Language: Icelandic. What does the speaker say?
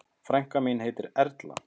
Frænka mín heitir Erla.